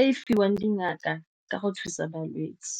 e e fiwang dingaka ka go thusa balwetse.